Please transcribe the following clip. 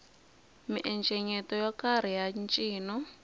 miencenyeto yo karhi ya ncino